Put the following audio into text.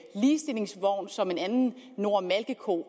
ligestillingsvogn som en anden nora malkeko